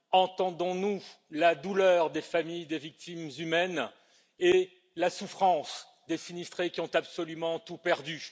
Entendons nous la douleur des familles des victimes humaines et la souffrance des sinistrés qui ont absolument tout perdu?